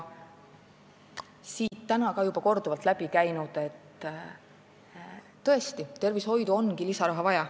Siin on täna juba korduvalt läbi käinud, et tervishoidu on vaja lisaraha.